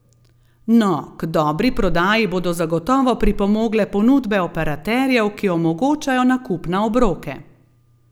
No, k dobri prodaji bodo zagotovo pripomogle ponudbe operaterjev, ki omogočajo nakup na obroke.